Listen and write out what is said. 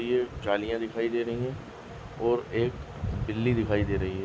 ये जालीया दिखाई दे रही है और एक बिल्ली दिखाई दे रही है।